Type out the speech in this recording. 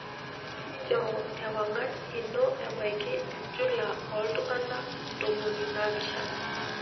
injoo ewangan ino ebaiki enjula oo iltungana intomoni naapishana